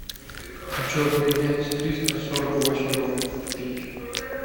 хочу обменять триста сорок восемь рупий